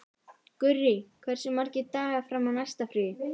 Gurrí, hversu margir dagar fram að næsta fríi?